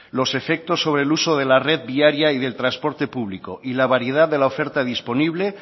los efectos sobre el uso de la red viaria y del transporte público y de la variedad de la oferta disponible